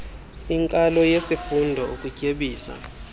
inkalo yesifundo ukutyebisa